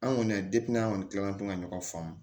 An kɔni an kɔni tilalen to ka ɲɔgɔn faa